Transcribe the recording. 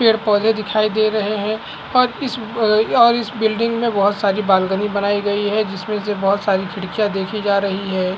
पेड़-पौधे दिखाई दे रहे हैं और इस अ और इस बिल्डिंग में बहुत सारी बालकनी बनाई गई है जिसमें से बहुत सारी खिड़कियां देखी जा रही है।